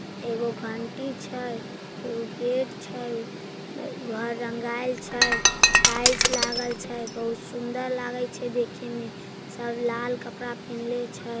एगो घंटी छै एगो गेट छै घर रंगेल छै टाइल्स लागल छै बहुत सुन्दर लागे छै देखे में सब लाल कपड़ा पहिंले छै।